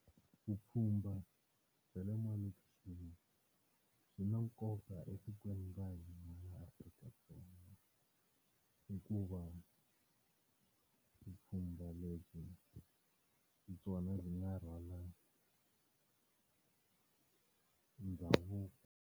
Vupfhumba bya le malokixini byi na nkoka etikweni ra hina ra Afrika-Dzonga hikuva vupfhumba lebyi hi byona byi nga rhwala ndhavuko.